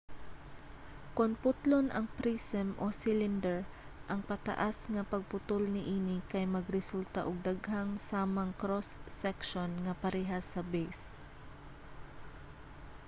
kon putlon ang prism o cylinder ang pataas nga pagputol niini kay magresulta og daghang samang cross-section nga parehas sa base